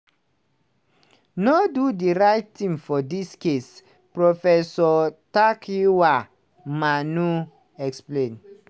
no do di right tin for dis case" professor takyiwaa manuh explain.